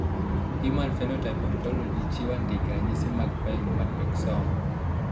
Human Phenotype Ontology chiwo andike ranyisi mag Pilomatrixoma.